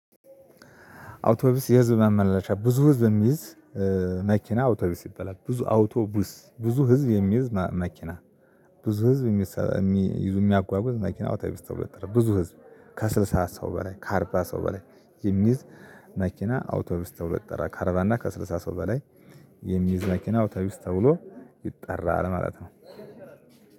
አውቶቢስ የህዝብ ማመላለሺያ ብዙ ህዝብ የሚይዝ መኪና አውቶቡስ ይበላል ብዙ አውቶቡስ ብዙ ህዝብ የሚይዝ መኪና። ብዙ ህዝብ የሚይዙ የሚያጓጉዝ መኪና ወታይብስተው ብዙ ህዝብ ከስልሳ ሰው በላይ ከአርባ ሰው በላይ የሚይዝ መኪና አውቶቡስ ተብሎ ይጠራል። ከአርባ እና ከስልሳ ሰው በላይ የሚይዝ መኪና አውታዊ ውስጥ ተውሎ ይጠራል ማለት ነው።